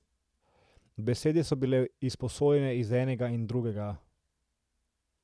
Besede so bile izposojene iz enega in drugega.